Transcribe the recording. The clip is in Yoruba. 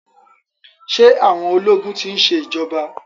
Ṣé àwọn ológun ti ń ṣe ìjọba.